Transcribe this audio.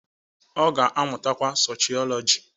Ọ ga-amụtakwa Soshiọlọji